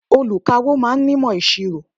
Olùkawó ma ń nímọ̀ ìṣirò.